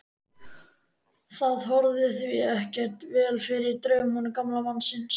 Það horfði því ekki vel fyrir draumum gamla mannsins.